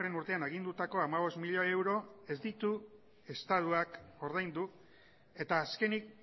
urtean agindutako hamabost milioi euro ez ditu estatuak ordaindu eta azkenik